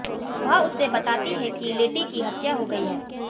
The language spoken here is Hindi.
वह उसे बताती है कि लेटी की हत्या हो गयी है